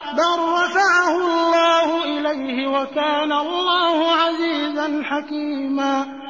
بَل رَّفَعَهُ اللَّهُ إِلَيْهِ ۚ وَكَانَ اللَّهُ عَزِيزًا حَكِيمًا